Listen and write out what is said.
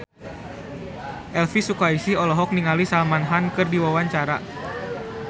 Elvy Sukaesih olohok ningali Salman Khan keur diwawancara